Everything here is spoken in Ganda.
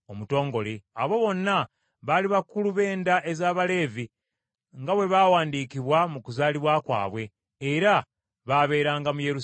Abo bonna baali bakulu b’enda ez’Abaleevi, nga bwe baawandiikibwa mu kuzaalibwa kwabwe, era baabeeranga mu Yerusaalemi.